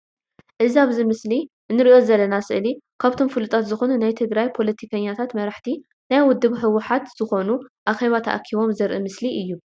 እዚ ኣብዚ ምስሊ እንርእዩ ዘለና ስእሊ ካብቶም ፍሉጣት ዝኮኑ ናይ ትግራይ ፖለቲከኛታትን መራሕቲ ናይ ውድብ ሕውሓትን ዝኮኑ ኣኬባ ተኣኪቦም ዘርኢ ምስሊ እዩ።